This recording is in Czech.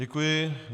Děkuji.